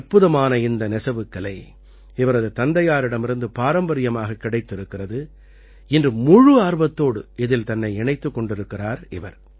அற்புதமான இந்த நெசவுக் கலை இவரது தந்தையாரிடமிருந்து பாரம்பரியமாகக் கிடைத்திருக்கிறது இன்று முழு ஆர்வத்தோடு இதில் தன்னை இணைத்துக் கொண்டிருக்கிறார் இவர்